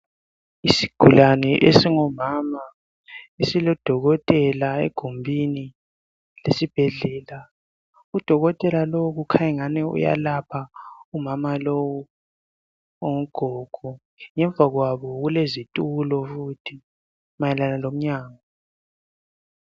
Isigulani esingumama esilodokotela egumbini lesibhedlela. Udokotela lowu kukhanya ingani uyalapha umama lowu ongugogo ngemva kwabo kulezitulo futhi mayelana ngomnyango.